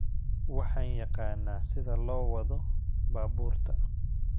Waaxan yaqanaa sida loo wado baburka